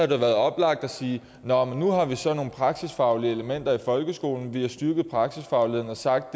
det været oplagt at sige nå men nu har vi så nogle praksisfaglige elementer i folkeskolen vi har styrket praksisfagligheden og sagt